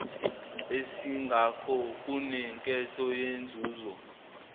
esingakho kunenketho yenzuzo